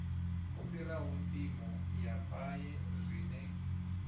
fhiraho mpimo ya paye zwine